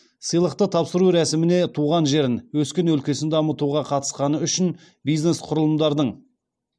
сыйлықты тапсыру рәсіміне туған жерін өскен өлкесін дамытуға қатысқаны үшін бизнес құрылымдардың